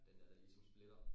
Den der der ligesom splitter